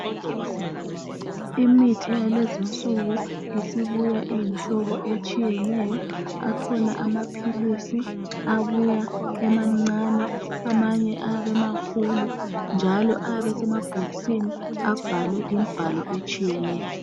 Imithi yalezinsuku, isibuya iyimhlobo etshiyeneyo. Akhona amaphilisi abuya emancane, amanye ayabe emakhulu, njalo ayabe esemabhokisi abhalwe imbhalo etshiyeneyo.